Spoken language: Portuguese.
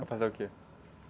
Para fazer o quê?